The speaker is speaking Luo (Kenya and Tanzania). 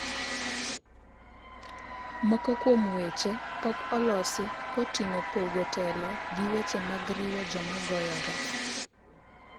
moko kuom weche pok olosi koting'o pogo telo gi weche mag riwo joma goyore